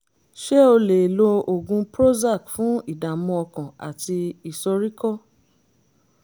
ṣé o lè lo oògùn prozac fún ìdààmú ọkàn àti ìsoríkọ́?